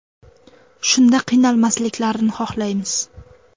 Shunda qiynalmasliklarini xohlaymiz.